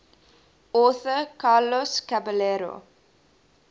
author carlos caballero